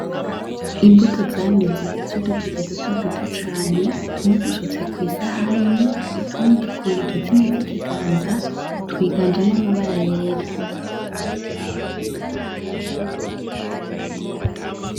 Imbuto zameze z'udutete dutoduto cane tumwe dusutse kw'isahani utundi kuntoki zine z'ikiganza twiganjemwo amabara yera.